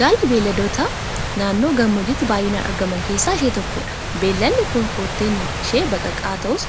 Gaalli beelladoota naannoo gammoojjiitti baay'inaan argaman keessaa ishee tokkodha. Beellanni kun kotteen ishee baqaqaa ta'us